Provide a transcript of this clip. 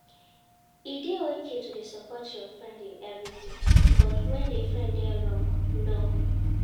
E de okay to de support your friend in everything but when di friend de wrong? no